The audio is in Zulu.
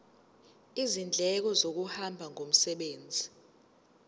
izindleko zokuhamba ngomsebenzi